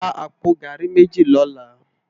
Rá àpó gàrí méji lòlá